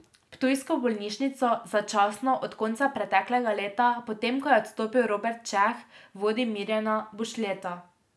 Ptujsko bolnišnico začasno od konca preteklega leta, potem ko je odstopil Robert Čeh, vodi Mirjana Bušljeta.